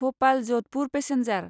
Bhopal Jodhpur passenger